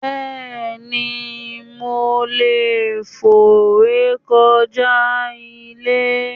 Béeni, mo leè fò rékoja ile